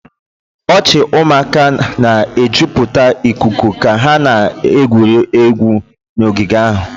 Ọchị ụmụaka na-ejupụta ikuku ka ha na-egwuri egwu n'ogige ahụ